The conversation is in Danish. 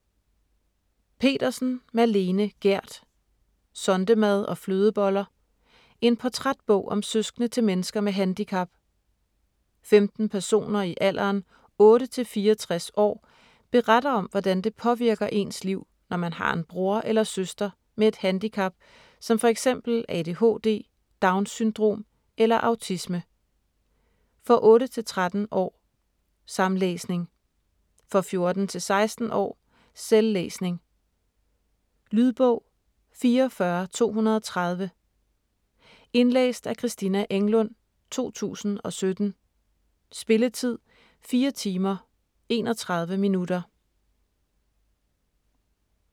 Petersen, Malene Gerd: Sondemad og flødeboller: en portrætbog om søskende til mennesker med handicap 15 personer i alderen 8-64 år beretter om hvordan det påvirker ens liv, når man har en bror eller søster med et handicap som f.eks. ADHD, Downs Syndrom eller autisme. For 8-13 år samlæsning. For 14-16 år selvlæsning. Lydbog 44230 Indlæst af Christina Englund, 2017. Spilletid: 4 timer, 31 minutter.